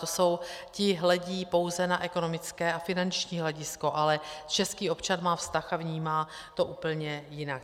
To jsou, ti hledí pouze na ekonomické a finanční hledisko, ale český občan má vztah a vnímá to úplně jinak.